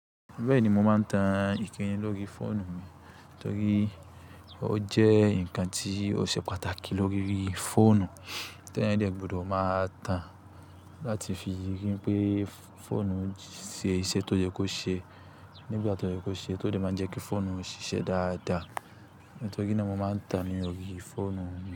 Bẹ́ẹ̀ni, mo máa ń tan ǹkan yẹn lórí fóònù mi, torí ó jẹ́ nǹkan tí ó ṣe pàtàkì lórí fóònù tí ẹ̀yàn dẹ̀ gbọdọ̀ máa tan láti fi rí i pé fóònù ń ṣe iṣẹ́ tó yẹ kó ṣe. Nígbà tó yẹ kó ṣe, tó dẹ̀ máa ń jẹ́ kí fóònù ṣiṣẹ́ dáadáa. Nítorí náà mo máa ń tan lórí fóònù mi.